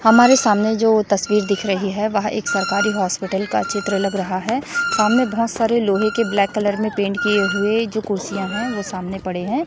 हमारे सामने जो तस्वीर दिख रही है वह एक सरकारी हॉस्पिटल का चित्र लग रहा है सामने बोहोत सारे लोहे के ब्लैक कलर में पेंट किए हुए जो कुर्सियां है वह सामने पड़े हैं।